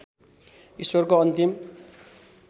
ईश्वरको अन्तिम